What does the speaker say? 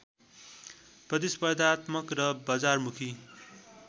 प्रतिस्पर्धात्मक र बजारमुखी